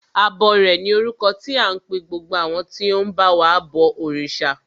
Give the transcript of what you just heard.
Abọrẹ̀ ni orúkọ tí à ń pe gbogbo àwọn tí ó ń ba wa bọ òrìṣà.